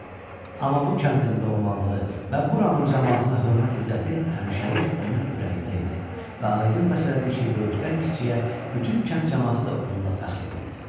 Amma bu kəndin doğmalığı və buranın camaatına hörmət-izzəti həmişəlik onun ürəyində idi və aydın məsələdir ki, böyükdən-kiçiyə bütün kənd camaatı da onunla fəxr edirdi.